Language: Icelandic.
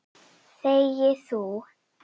Þegi þú!